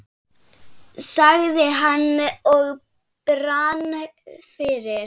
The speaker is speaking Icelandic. sagði hann og brann fyrir.